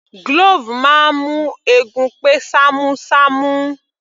Glove máa ń mú eegun pé ṣamu ṣamu